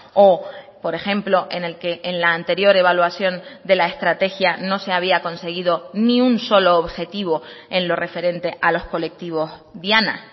o por ejemplo en el que en la anterior evaluación de la estrategia no se había conseguido ni un solo objetivo en lo referente a los colectivos diana